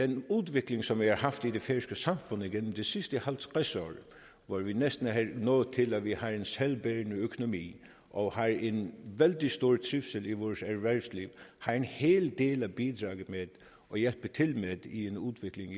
den udvikling som vi har haft i det færøske samfund igennem de sidste halvtreds år hvor vi næsten er nået til at vi har en selvbærende økonomi og har en vældig stor trivsel i vores erhvervsliv har en hel del at bidrage med og hjælpe til med i udviklingen